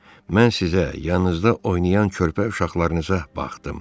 Mən sizə, yanınızda oynayan körpə uşaqlarınıza baxdım.